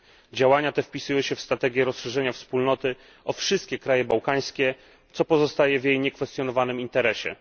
Działania te wpisują się w strategię rozszerzenia Wspólnoty o wszystkie kraje bałkańskie, co pozostaje w jej niekwestionowanym interesie.